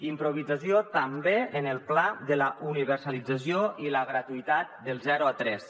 improvisació també en el pla de la universalització i la gratuïtat dels zero a tres